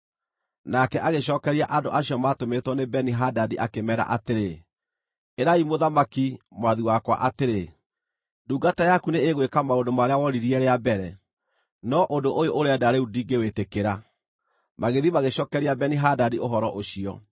Nake agĩcookeria andũ acio maatũmĩtwo nĩ Beni-Hadadi, akĩmeera atĩrĩ, “Ĩrai mũthamaki, mwathi wakwa atĩrĩ, ndungata yaku nĩĩgwĩka maũndũ marĩa woririe rĩa mbere, no ũndũ ũyũ ũrenda rĩu ndingĩwĩĩtĩkĩra.” Magĩthiĩ magĩcookeria Beni-Hadadi ũhoro ũcio.